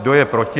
Kdo je proti?